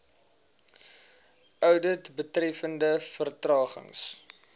oudit betreffende vertragings